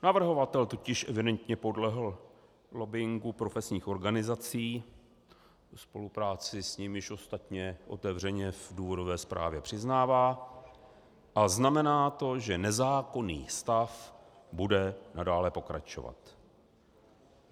Navrhovatel totiž evidentně podlehl lobbingu profesních organizací, spolupráci s nimiž ostatně otevřeně v důvodové zprávě přiznává, a znamená to, že nezákonný stav bude nadále pokračovat.